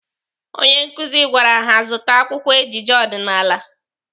Onye nkụzi gwara ha zụta akwụkwọ ejije ọdịnaala.